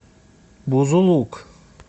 бузулук